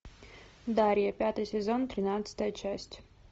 дарья пятый сезон тринадцатая часть